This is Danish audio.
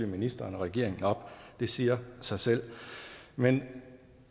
ministeren og regeringen op det siger sig selv men